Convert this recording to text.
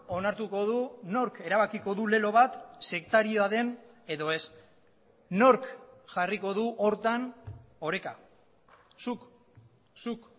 onartuko du nork erabakiko du lelo bat sektarioa den edo ez nork jarriko du horretan oreka zuk zuk